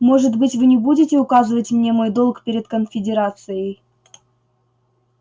может быть вы не будете указывать мне мой долг перед конфедерацией